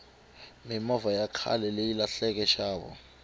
mimovha ya khaleyi lahlenxavo